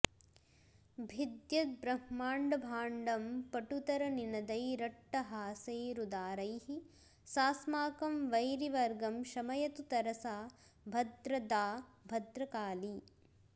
भिद्यद्ब्रह्माण्डभाण्डं पटुतरनिनदैरट्टहासैरुदारैः सास्माकं वैरिवर्गं शमयतु तरसा भद्रदा भद्रकाली